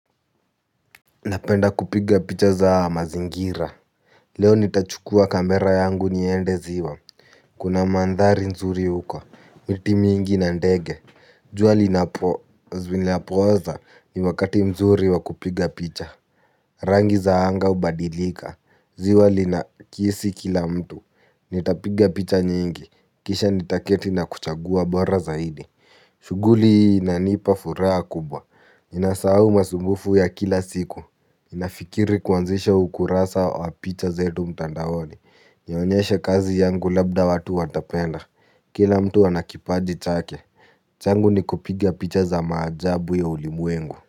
Napenda kupiga picha za mazingira. Leo nitachukua kamera yangu niende ziwa. Kuna mandhari nzuri uko, miti mingi na ndege. Jua linapooza ni wakati mzuri wa kupiga picha. Rangi za anga hubadilika. Ziwa linakisi kila mtu. Nitapiga picha nyingi. Kisha nitaketi na kuchagua bora zaidi. Shughuli hii inanipa furaha kubwa. Ninasahau masumbufu ya kila siku. Ninafikiri kuanzisha ukurasa wa picha zetu mtandaoni. Nionyeshe kazi yangu labda watu watapenda. Kila mtu anakipaji chake. Changu ni kupiga picha za maajabu ya ulimwengu.